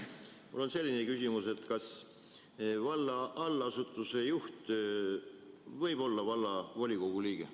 Mul on selline küsimus, et kas valla allasutuse juht võib olla vallavolikogu liige.